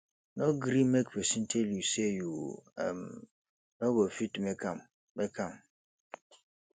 no gree make pesin tell you say you um no go fit make am make am